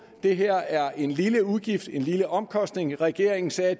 det her er en lille udgift en lille omkostning regeringen sagde at